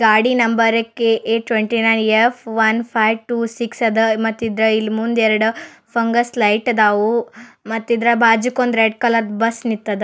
ಗಾಡಿ number KA twenty nine F one five two six ಅದ ಮತ್ ಇದ್ರ ಇಲ್ ಮುಂದ ಎರಡು ಫಂಗಸ್ ಲೈಟ್ ಅದಾವು. ಮತ್ತಿದ್ರು ಬಜಕ್ಕೂ ರೆಡ್ ಕಲರ್ ಬಸ್ ನಿಂತದ.